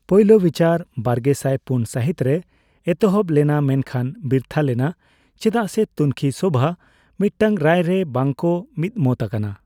ᱯᱳᱭᱞᱳ ᱵᱤᱪᱟᱹᱨ ᱵᱟᱨᱜᱮᱥᱟᱭ ᱯᱩᱱ ᱥᱟᱹᱦᱤᱛ ᱨᱮ ᱮᱛᱚᱦᱚᱵ ᱞᱮᱱᱟ ᱢᱮᱱᱠᱷᱟᱱ ᱵᱤᱨᱛᱷᱟᱹ ᱞᱮᱱᱟ ᱪᱮᱫᱟᱜ ᱥᱮ ᱛᱩᱱᱠᱷᱤᱼᱥᱚᱵᱷᱟ ᱢᱤᱫᱴᱟᱝ ᱨᱟᱭ ᱨᱮ ᱵᱟᱝ ᱠᱚ ᱢᱤᱫ ᱢᱚᱛ ᱟᱠᱟᱱᱟ ᱾